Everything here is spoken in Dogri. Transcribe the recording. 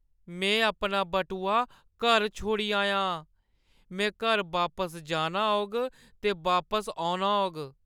में अपना बटुआ घर छोड़ी आया आं। में घर बापस जाना होग ते बापस औना होग।